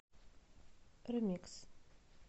ремикс